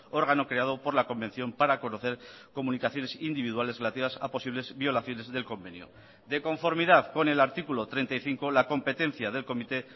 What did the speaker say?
órgano creado por la convención para conocer comunicaciones individuales relativas a posibles violaciones del convenio de conformidad con el artículo treinta y cinco la competencia del comité